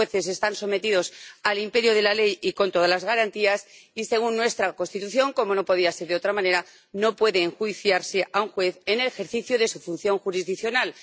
Los jueces están sometidos al imperio de la ley y con todas las garantías y, según nuestra Constitución ‒como no podía ser de otra manera‒, no puede enjuiciarse a un juez en el ejercicio de su función jurisdiccional.